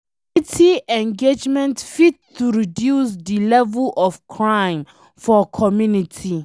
Community engagement fit to reduce de level of crime for community